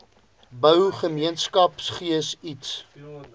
bou gemeenskapsgees iets